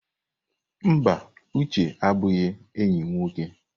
Mba, Uche abụghị enyi m nwoke.